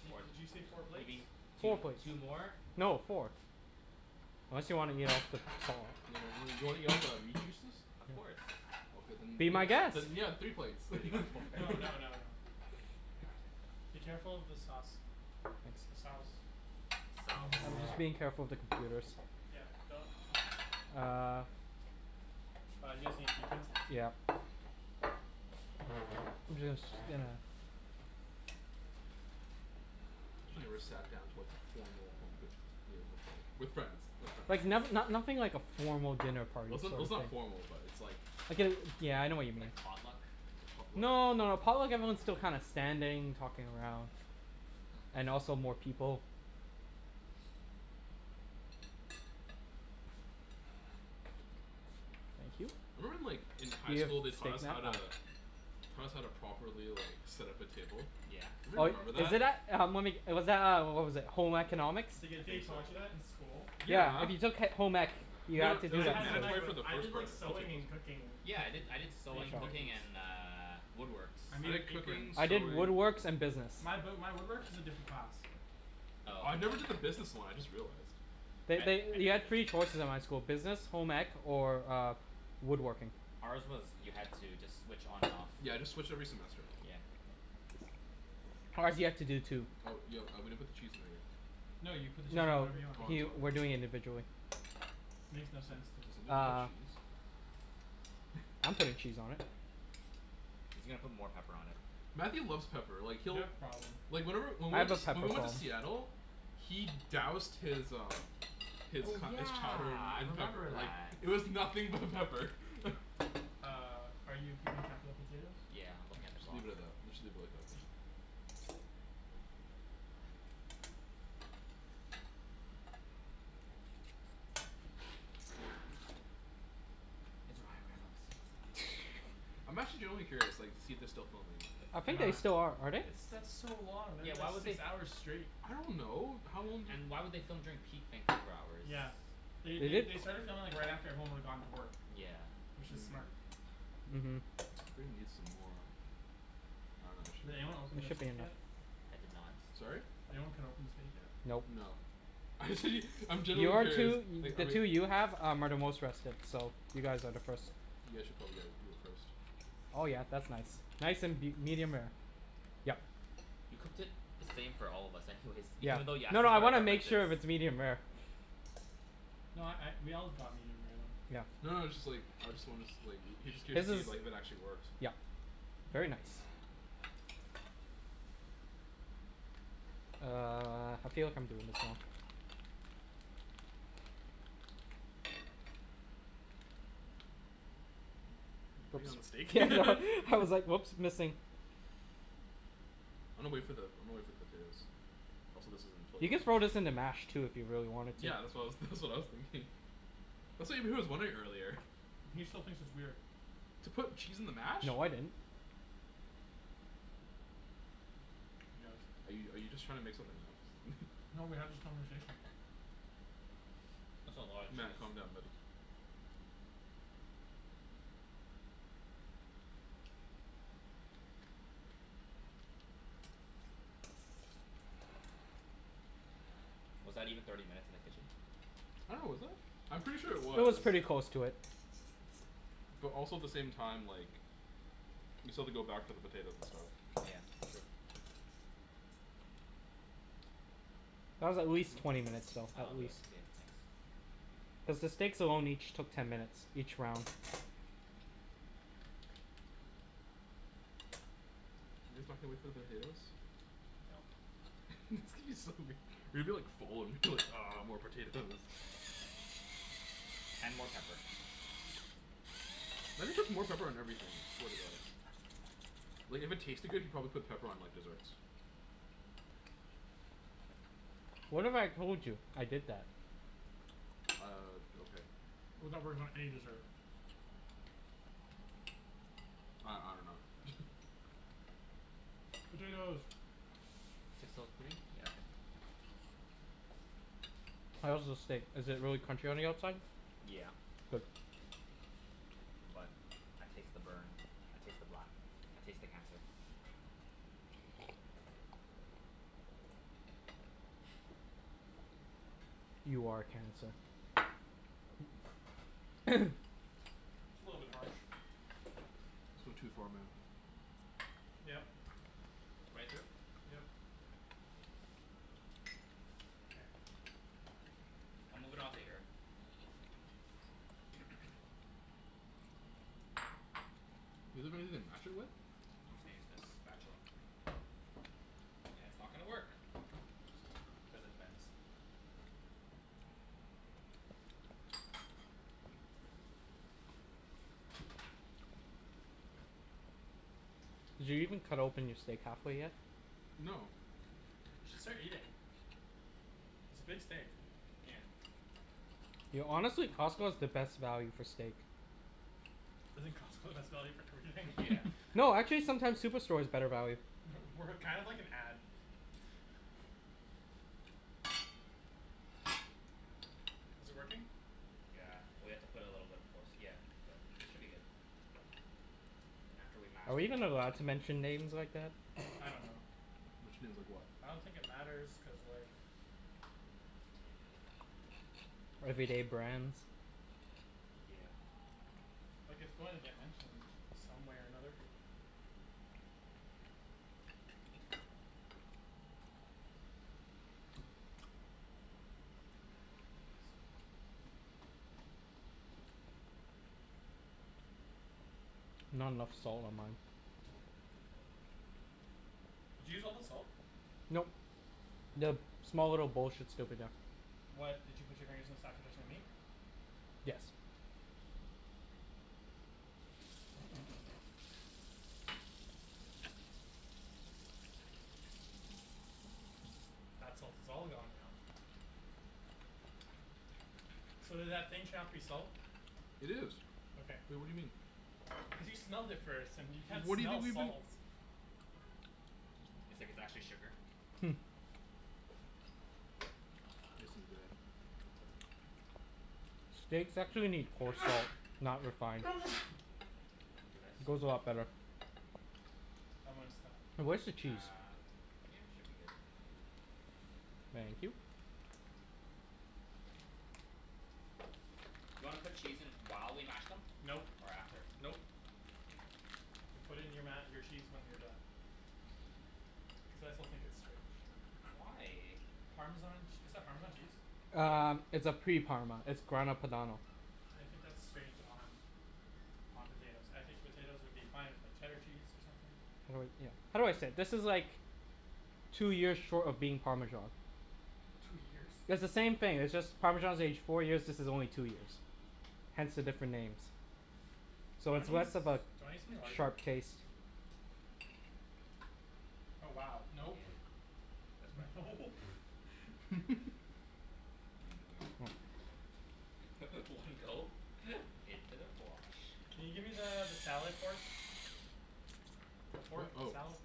Di- did you say four Or y- you plates? mean two Four plates. two more? No, four. Ya, wan- wan- you wanna eat all the meat juices? Of course. Be my guest. Then I'm kidding. yeah, three plates. We already got four. No, no, no, no. Be careful with the sauce. The sauce. Sauce. I'm being careful of the computers. Yeah, don't. Uh- Uh, you guys need the utensils Yeah. too. I'm just, you know. I never Nice. sat down to like formal home cooked meal before with friends with friends. Like not no- nothing like a formal dinner Well party it's sort n- of it's not thing. formal but it's like- Like a- yeah I know what you mean. Like potluck? Potluck? No, no, a potluck everyone's still kinda standing, talking around. And also more people. Thank you. I remember in like in high school they Taught taught us us how how to- to- Taught us how to properly, like, set up a table. Yeah. Oh, Anybody remember is that? it that- uh uh, was that, uh, what was it, Home Economics? The- the- they taught you that in school? Yeah, Yeah if you took he- home ec, you No, I- no, had to it do was, I like, that had home ec mandatory for stuff. but the I did first part like I sewing think. and cooking Yeah. I did- cookies, I did sewing, baking cooking, cookies. and uh, woodworks. I made an I did apron. cooking, I did sewing. woodworks and business. My b- my woodwork is a different class. I Oh. never did the business one, I just realized. I They- I did they- you had the three business. choices at my school. Business, home ec, or woodworking. Ours was you had to just switch on and off. Yeah, I just switch every semester. Yeah. Ours, you had to do two. Oh, yo, uh, we didn't put the cheese in there yet. No, you put the cheese No, no, whenever you want. he Oh we're doing it I'm sorry. individually. Makes no sense Can to- somebody get the Uh. cheese? I'm putting cheese on it. He's gonna put more pepper on it. Matthew loves pepper. Like You he'll- have problem. Like whenever- when I we went have a to- pepper when we went to problem. Seattle- He doused his, um His Oh co- his chowder yeah, I in remember pepper, like, that. it was nothing but pepper. Uh, are you keeping track of the potatoes? Yeah, I'm looking at the Okay. clock. Leave it at that. Let's just leave it like that for now. It's Ryan Reynolds. I'm actually genuinely curious, like, to see if they're still filming. I They're think they not. still are. Are they? It's- that's so long that'd Yeah, be like why would they six f- hours straight. I don't know. How long do- And why would they film during peak Vancouver hours? Yeah. They- Did they- they? they started filming right after, like, everyone would've gone to work. Yeah. Which is smart. uh-huh I'm gonna need some more- I dunno, actually Did anyone open It the should be steak enough. yet? I did not. Sorry? Did anyone cut open the steak yet? Nope. No. Actually I'm genuinely Your curious two, i- Like the are we- two you have are the most rested, so you guys are the first. You guys should probably, like, do it first. Oh yeah, that's nice. Nice and be- medium rare. Yep. You cooked it the same for all of us anyways. Yeah. Even thought you asked No, us no for I our wanna make preferences. sure if it's medium rare. No I- I we all got medium rare though. Yeah. No, no it's just, like, I just wanna, like, I was just curious His to see if is- like if it actually works. yep very nice. Uh, I feel like I'm doing this wrong. You putting it on the steak? I was like oops, missing. I'ma wait for the- I'ma wait for the potatoes. I'm solicited in You the could throw toilet. this in the mash too if you really wanted to. Yeah. That's what I was that's what I was thinking. That's what Ibrahim was wondering earlier. He still thinks it's weird. To put cheese in the mash? No, I didn't. He does. Are you are you just trying to make something up? No, we had this conversation. That's a lotta Matt, cheese. calm down buddy. Was that even thirty minutes in the kitchen? I dunno was it? I'm pretty sure it It was was. pretty close to it. But also the same time like We still have to go back for the potatoes and stuff. Yeah. That's true. That was at least twenty minutes long, at least. Cuz the steaks alone each took ten minutes, each round. You guys can't wait for the potatoes? It's gonna be so weir- you're gonna be like full and be like "Ah more potatoes." And more pepper. Matt just puts more pepper on everything, I swear to God. Like if it tasted good, he'd probably put pepper on like desserts. What if I told you I did that? Uh, okay. How that works on any dessert? I- I dunno Potatoes. Six O three? Yeah, okay. How is the steak? Is it really crunchy on the outside? Yeah. Good. But I taste the burn. I taste the black. I taste the cancer. You are a cancer. It's a little bit harsh. It's going too far man. Yep. Right through? Yep. Mkay. I'll move it onto here. Want anything to mash it with? I'm just gonna use this spatula. And it's not gonna work cuz it bends. Did you even cut open your steak half way yet? No. We should start eating. It's a big steak. Yeah. Yo, honestly, Costco is the best value for steak. Isn't Costco the best value for everything? Yeah. No, actually sometimes Superstore is better value. We're kind of like an ad. Is it working? Yeah. Well, you have to put a little bit of force, yeah. But, should be good. Then after we mash Are we them even allowed all. to mention names like that? I don't know. Mention names like what? I don't think it matters cuz like. Everyday brands? Yeah. Like it's going to get mentioned some way or another. Not enough salt. Did you use all the salt? Nope. The small little bowl should still be there. What? Did you put your fingers inside but there is no meat? Yes. That salt is all gone now. So did that thing turn out to be salt? It is. Okay. Wait, what do you mean? Because you smelled it first and you can't What do you smell think we've been salt. It's like it's actually sugar. Nice and red, like that. Steaks actually need coarse salt. Not refined. Bless you. Goes a lot better. I'm goin' stop. Now where's the cheese? Uh yeah should be good. Thank you. Do you wanna put cheese in while we mash them? Nope, Or after? nope. You put it in your ma- your cheese when you're done. Cuz I still think it's strange. Why? Parmesan ch- is that Parmesan cheese? Uh Yeah. it's a pre parma. It's Grana Padano I think that's strange on on potatoes. I think potatoes would be fine with like cheddar cheese or something. How do I say it? This is like Two years short of being Parmesan. Two years? It's the same thing. It's just Parmesan is aged four years, this is only two years. Hence the different names. Do So you it's wanna use less do of you a wanna use something larger? sharp taste. Oh wow Yeah. nope That's what I thought. Nope You need that. One go into the fwosh. Can you gimme the the salad fork? The Fork? fork of a Oh. salad?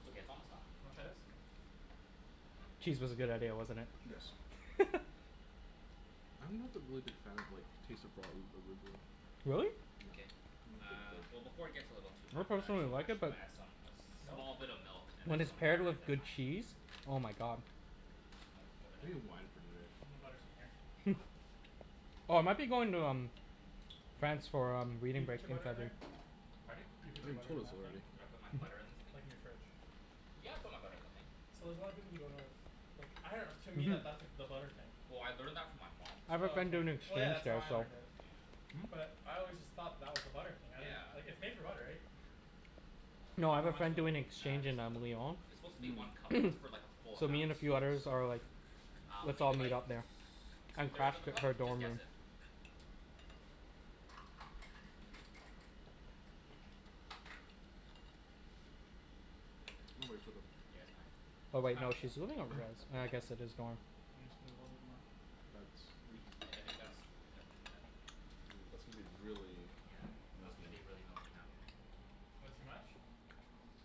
It's okay, it's almost done. Wanna try this? Cheese was a good idea, wasn't it. Sure. Yes. I'm not the really big fan of like taste of raw a- arugula. Really? No, K, not my favorite uh veg. well before it gets a little too ma- uh personally too like mashed it but we'll add some Nope. small bit of milk and then When it's some paired butter and with the good thyme. cheese. Oh my god. Where's the milk? Over there? We need wine for today. I think the butter's in here. Oh I might be going to um France for um Did you reading put break your in butter in there? February. Pardon? You I put think your you butter in told us that thing? already. Did I put my Mhm. butter in this thing? Like in your fridge. Yeah, I put my butter in the thing. So there's a lotta people who don't know that's like I dunno to me Mhm. that that's the butter thing. Well I learned that from my mom I have a Oh friend okay, doing well so yeah exchange that's how there I so learned it. Hmm? But I always just thought that was the butter thing. I didn't - - like Yeah. it's made for butter right? No I have How a much friend milk? doing Uh exchange just in uh um Lyon it's supposed to be one Mmm. cup but that's like for like a full So amount me and a few others so. are like Um "Let's all maybe meet like t- up there two and thirds crash of a he- cup? her Just dorm guess room." it. We'll wait for them. Yeah, it's fine. Oh It's wait no half a cup. she's living on Half a rez. cup? Uh I Okay. guess it is dorm. Why don't you put a little bit more? That's are you supposed I I to? think that's quite Ooh, that's gonna be really Yeah, that's gonna milky. be really milky now. That too much?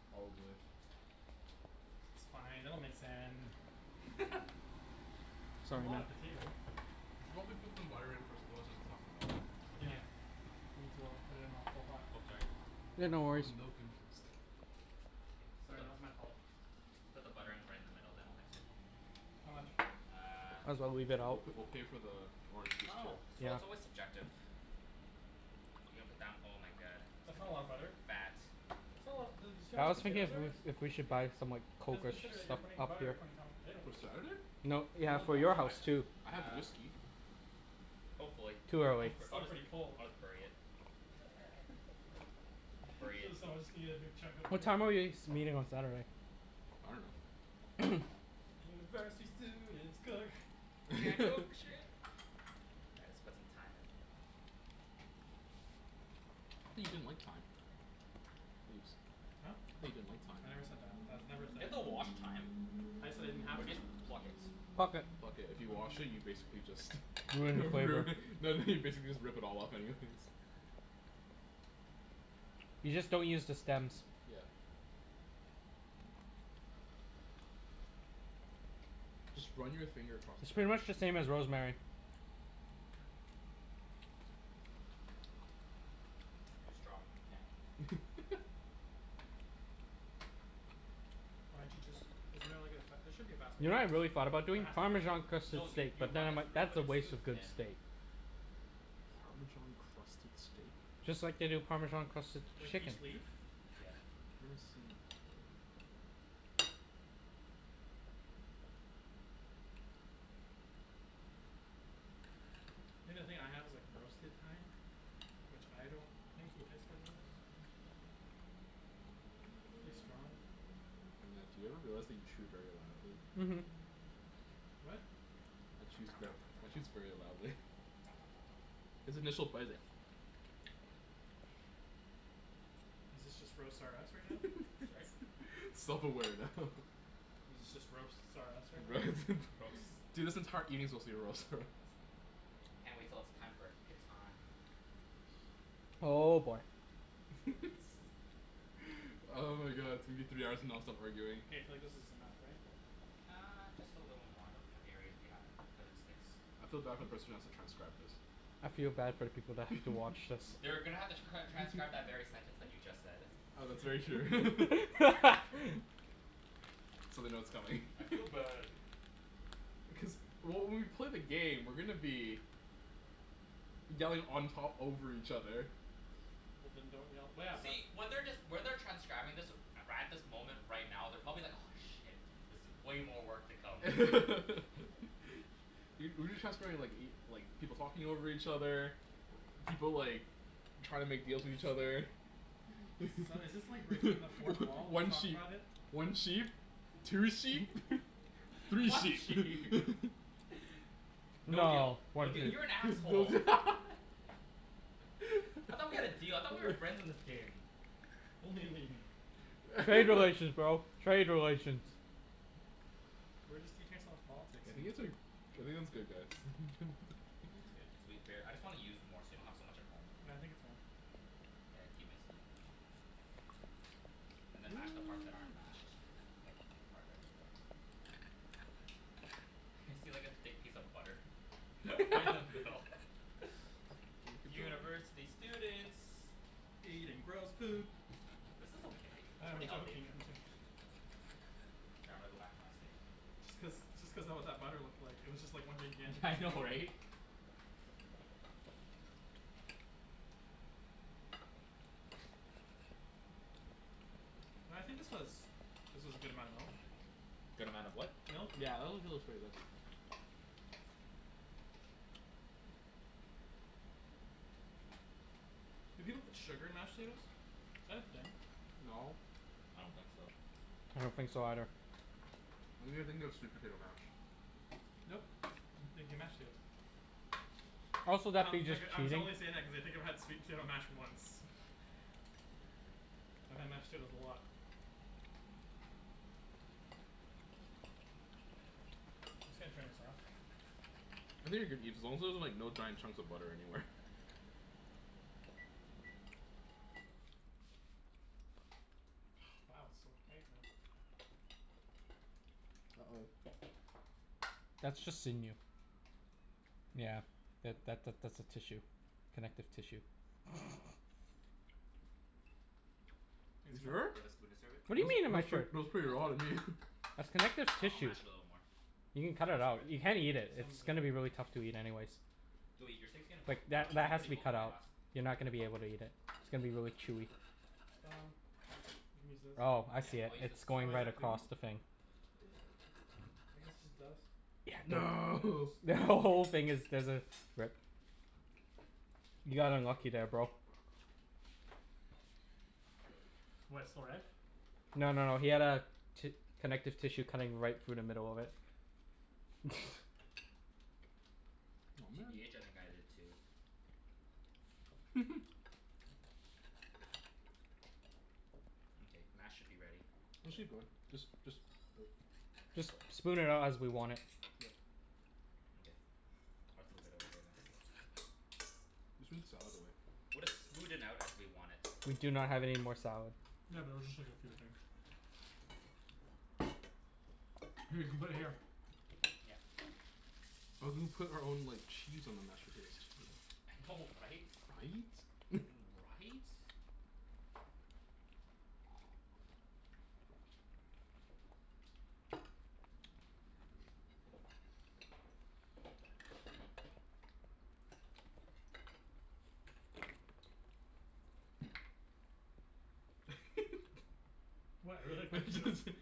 Probably. It's fine. It'll mix in. It's a lot of potato We should probably put some butter in first otherwise it's not gonna melt. Yeah Yeah. Need to o- put it in while it's still hot. Oh sorry. Yeah, Why'd no you pour the worries. milk in first? Sorry, that was my fault. Put the butter in right in the middle then I'll mix it. How much? Uh. Might as well leave it We'll out. p- we'll pay for the I orange juice dunno. too. It's real- Yeah. it's always subjective. You're gonna put down oh my god. That's It's not a lot of gonna butter. fat That's not a lotta dude you see how I much was thinking potatoes of there is? if we should buy some like Let's coke or sh- consider that stuff you're putting up here. butter according to how much potato For there is. Saturday? No yeah Will it for melt? your I house d- too. I have uh whiskey. Hopefully Too I'll Cuz early. b- it's I'll, still pretty cold. I'll just bury it. Bury it. So someone's just gonna get a big chunk of What butter? time are we s- meeting on Saturday? I dunno. University students cook. Can't cook for shit. All right let's put some thyme in. I thought you didn't like thyme. Ibs. Huh? Thought you didn't like thyme. I never said that. That's Do never a thing. you have to wash thyme? I just said I didn't have Or do you thyme. just pluck it? Pluck it. Pluck it. If you wash it you basically just Ruin the flavor. ruin no no you basically just rip it all off anyways. You just don't use the stems. Yeah. Just run your finger across the It's pretty thyme. much the same as rosemary. Too strong. Can't. Why didn't you just isn't there like a fa- there should be a faster You way to know do what I really this. thought about There doing? has to be a faster Parmesan way to crusted No do this. you steak. you But then run I'm it like, through that's but a it's waste too of good thin. steak. Parmesan crusted steak? Just like they do Parmesan crusted Like chicken. each leaf? Yeah. I've never seen it though. Think the thing I have is like roasted thyme Which I don't think would taste better than this. It's really strong. Matt, do you ever realize that you chew very loudly? Mhm. What? Matt chews ver- Matt chews very loudly His initial bite i- Is this just roast R us right now? Sorry? Self aware now. Is it just roasts R us right now? R- roast dude this entire evening's supposed to be roast R us. Can't wait till it's time for Catan. Oh boy. Oh my god it's gonna be three hours of nonstop arguing. K, I feel like this is enough, right? Uh just a little more they'll put areas we haven't cuz it sticks. I feel bad for the person who has to transcribe this. I feel bad for the people that have to watch this. They're gonna have to cr- transcribe that very sentence that you just said. Oh that's very true. So they know it's coming. I feel bad. Cuz well when we play the game we're gonna be Yelling on top over each other. Well then don't yell well yeah the See when they're just when they're transcribing this right at this moment right now they're probably like aw shit. This i- way more work to come. Y- we've been transcribing like y- like people talking over each other. People like trying to make little deals put with the each stem. other. So is this like breaking the fourth wall to One talk sheep about it? one sheep Two sheep three One sheep sheep No deal No, one no deal sheep. you're an no asshole. I thought we had a deal I thought we were friends in this game. Only in the game. Trade relations, bro, trade relations. We're just teaching ourself politics I think it's uh I think it's good guys It's good cuz we bare- I just wanna use more so we don't have so much at home. Well I think it's fine. Mkay, yeah keep mixing it. And then mash the parts that aren't mashed like thick part right over there. see like a thick piece of butter. Right in the middle. Can you keep going University students Eating gross food. This is okay, I it's know I'm pretty healthy. joking I'm jo- K, I'm gonna go back to my steak. Just cuz just cuz that what that butter looked like. It was just one gigantic Yeah I know piece. right? No I think this was this was a good amount of milk. Good amount of what? Milk Yeah that actually looks pretty good. Do people put sugar in mashed potatoes? Is that a thing? No. I don't think so. I don't think so either. I think you're thinking of sweet potato mash. Nope, I'm thinking mashed potatoes. Also that'd Um be like just uh I'm t- cheating. only saying that cuz I've had sweet potato mash once. I've had mashed potatoes a lot. I'm just gonna turn this off. I think you're good Ibs as long as there's like no giant chunks of butter anywhere. Wow it's so quiet now. Uh oh. That's just sinew. Yeah. Yeah that that that's a tissue. Connective tissue. It's You enough? Do sure? you have a spoon to serve it? What do Ni- you mean am I nice sure? trick, looks pretty Now raw to it's me. good. That's connective Uh I'll tissue. mash it a little more. You can cut Then it I'll serve out. it. You can't eat it. It's Simon's really gonna be really good. tough to eat anyways. Go eat, your steak's getting cold. Like Mine, that mine that was has to pretty be cold cut when I out. last You're ate not gonna be it. able to eat it. It's gonna be really chewy. Um You can use this. Oh I Yeah, see it. I'll use this It's to Oh going is right that clean. clean? across the thing. I guess it's just dust. Yeah No it's The who- dust. whole Mkay. thing there's a rip. You got unlucky there bro. What, it's still red? No no no he had a ti- connective tissue cutting right through the middle of it. Oh man. TBH I think I did too. Mkay, mash should be ready. Actually good just just Just Just lips? spoon it out as we want it. Yep. Mkay. I'll just move it over there then. Let's put the salad away. We'll just smooth it out as we want it. We do not have any more salad. Yeah but it was just like a few things. Here you can put it here. Yeah. I was gonna put our own like cheese on the mashed potatoes. I know right? Right? Right? What? I really like my I potatoes. just, think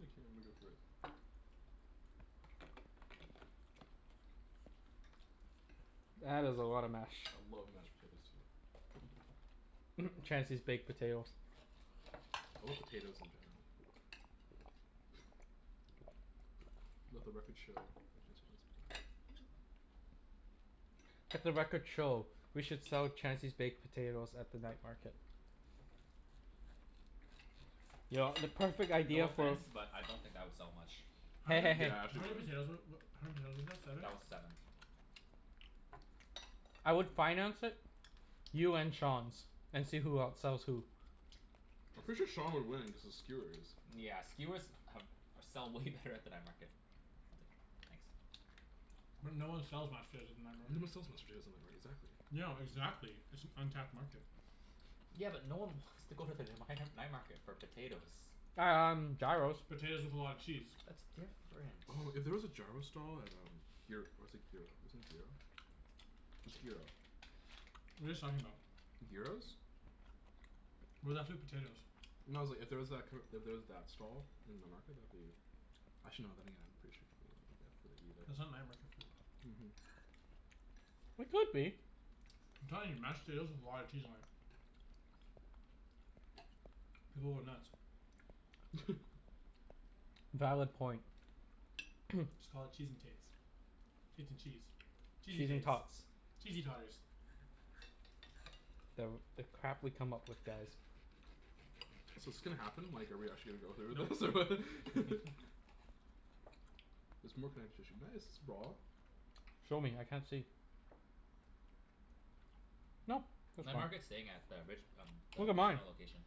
I'ma go for it. That is a lot of mash. I love mashed potatoes too. Chancey's baked potatoes. I love potatoes in general. Let the records show that Chancey loves potatoes. Let the records show we should sell Chancey's baked potatoes at the night market. Yo, the perfect No idea for offense, but I don't think that would sell much. How Hey many hey hey. Yeah, how actually many wouldn't. potatoes wa- wa- how many potatoes was that? Seven? That was seven. I would finance it. You and Sean's, and see who outsells who. I'm Just pretty be- sure shh Sean would win, cuz of skewers. Yeah skewers have or sell way better at the night market. I'll take it. Thanks. But no one sells mashed potatoes at the night market. sells mashed potatoes night mar- exactly. No, exactly, it's an untapped market. Yeah but no one wants to go to the the mighnar- night market for potatoes. Um gyros. Potatoes with a lot of cheese. That's different. Oh if there was a gyro stall at um gyr- or is it gyro, isn't it gyro? It's gyro. What are you guys talking about? Gyros? We're left with potatoes. No it's like if there was that kinda, if there was that stall in the night market that'd be Actually no then again pretty sure should go grab for the eat at That's not night market food. Mhm. It could be. I'm telling you. Mashed potatoes with a lot of cheese on it. People would nuts. Valid point. Just call it "Cheese N tates" "Tates N cheese" "Cheesey Cheese N tates" tots. "Cheesey totters." The the crap we come up with, guys. So 's this gonna happen? Like are we actually gonna go through with this Nope. or? There's more connective tissue. Nice Show me, I can't see. Nope, that's Night fine. market's staying at the Rich- um the Look at mine. casino location.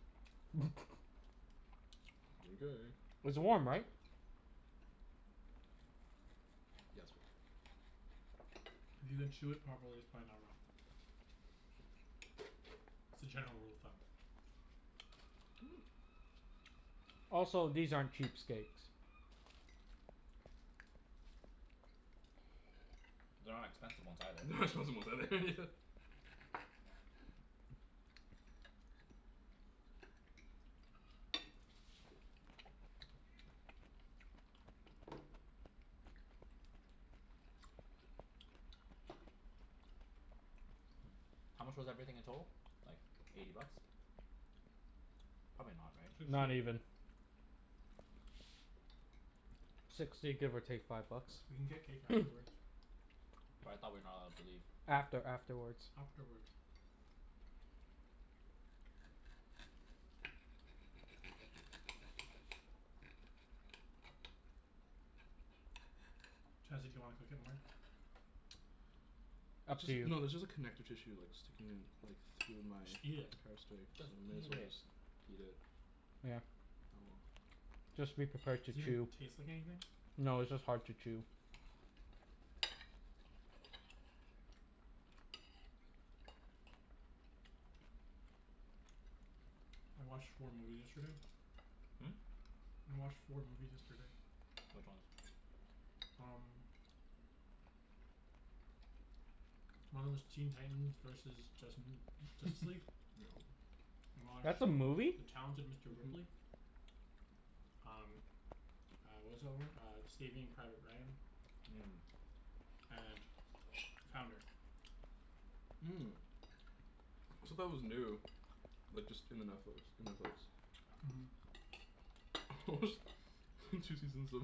Mkay. It's warm, right? If you can chew it properly, it's probably not raw. It's a general rule of thumb. Also, these aren't cheap steaks. They're not expensive ones either. They're not expensive ones either Yeah. How much was everything in total? Like eighty bucks. Probably not, right? Sixty. Not even. Sixty give or take five bucks. We can get cake afterwards. But I thought we're not allowed to leave. After afterwards. Afterwards. Chancey do you wanna cook it more? Up It's to you. just no there's just like connective tissue like sticking in like through my Just eat it. entire steak so Just I may as eat well it. just eat it. Yeah. Oh well. Just be prepared Does to it even chew. taste like anything? No, it's just hard to chew. I watched four movies yesterday. I watched four movies yesterday. Which ones? Um. One of 'em was Teen Titans versus Justin Justice League. Yep. I watched That's a movie? "The Talented Mister Mhm. Ripley." Um uh what was the other one? Uh "Saving Private Ryan." Mmm. And "Founder." Said that was new. Like just in the Netflix. In Netflix. Mhm. I watched two seasons of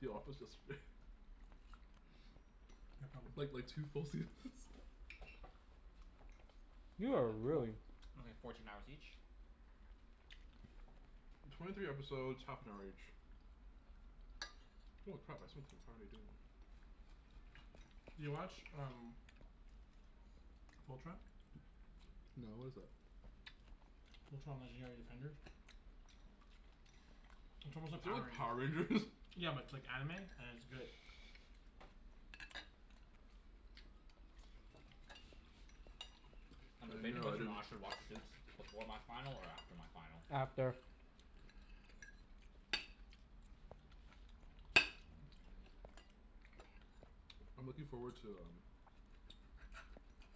The Office yesterday. Yeah, probably. Like like two full seasons You That are like four- really only fourteen hours each? Twenty three episodes half an hour each. Holy crap I spent the entire day doing it. You watch um "Fultron?" No what is that? "Fultron, Legendary Defenders?" It's Is almost like that Power like Power Rangers? Rangers. Yeah but it's like anime and it's good. Uh I'm debating no I whether or didn't. not I should watch Suits before my final or after my final. After I'm looking forward to um